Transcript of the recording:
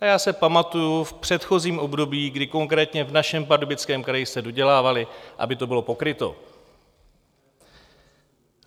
A já si pamatuji v předchozím období, kdy konkrétně v našem Pardubickém kraji se dodělávaly, aby to bylo pokryto.